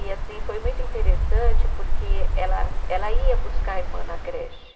E assim, foi muito interessante porque ela ela ia buscar a irmã na creche.